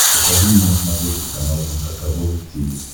покажи мне на смотрешке канал эн эйч кей волд ти ви